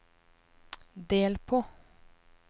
del på